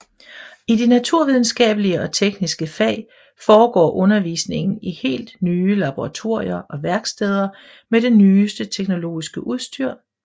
I de naturvidenskabelige og tekniske fag foregår undervisningen i helt nye laboratorier og værksteder med det nyeste teknologiske udstyr